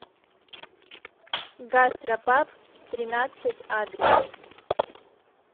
гастропаб тринадцать адрес